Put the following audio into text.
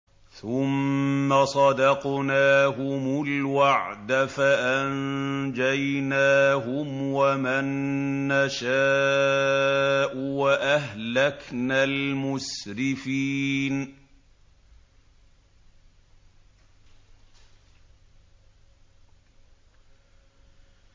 ثُمَّ صَدَقْنَاهُمُ الْوَعْدَ فَأَنجَيْنَاهُمْ وَمَن نَّشَاءُ وَأَهْلَكْنَا الْمُسْرِفِينَ